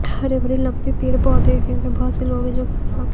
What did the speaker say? हरे भरे लम्बे पड़े पोधै हे क्योंकि बहोत से लोग हैं जो--